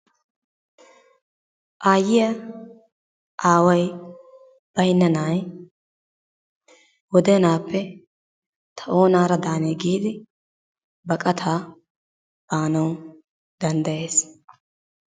Aayyiya aaway baynna naay wodenaappe ta oonaara daanee giidi baqataa baanawu danddayees.